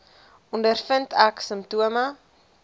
ondervind ek simptome